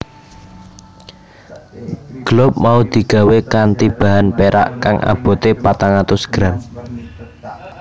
Globe mau digawé kanthi bahan perak kang aboté patang atus gram